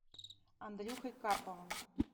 андрюхой карповым